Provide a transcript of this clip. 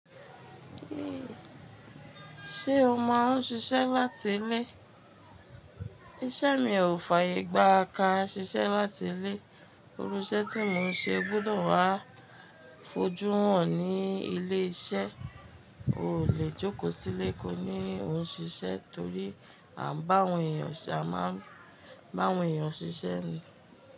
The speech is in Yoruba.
Ehn, ṣe o máa ń ṣiṣẹ́ láti ilé? Iṣẹ́ mi ò fàyè gbà ká ṣiṣẹ́ láti ilé. Irú iṣẹ́ tí mo ń ṣe gbọ́dọ̀ wá fojú hàn ní ilé iṣẹ́. O lè jókòó sílé kó ní o ń ṣiṣẹ́ torí a ń bá àwọn èèyàn ṣiṣẹ́ ni.